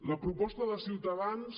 la proposta de ciutadans